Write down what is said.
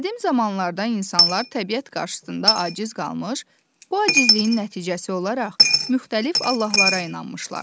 Qədim zamanlarda insanlar təbiət qarşısında aciz qalmış, bu acizliyin nəticəsi olaraq müxtəlif allahlara inanmışlar.